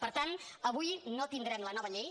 per tant avui no tindrem la nova llei